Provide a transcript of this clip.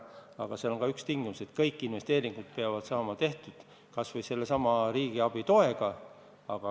Aga seal on ka üks tingimus: kõik investeeringud peavad saama tehtud, kas või sellesama riigiabi toega.